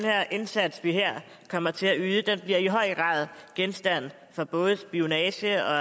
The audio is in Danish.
indsats vi her kommer til at yde vil i høj grad genstand for både spionage og